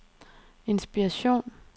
inspiration